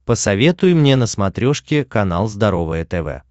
посоветуй мне на смотрешке канал здоровое тв